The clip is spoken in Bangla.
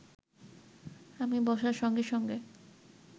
আমি বসার সঙ্গে সঙ্গে